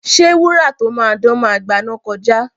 Ṣé wúrà tó máa dán máa gbaná kọjá?